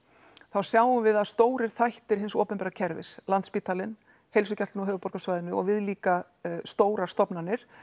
þá sjáum við að stórir þættir hins opinbera kerfis Landspítalinn Heilsugæslan á höfuðborgarsvæðinu og viðlíka stórar stofnanir